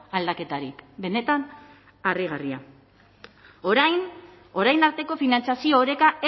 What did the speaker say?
aldaketarik benetan harrigarria orain arteko finantzazio oreka